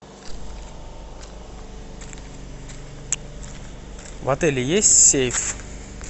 в отеле есть сейф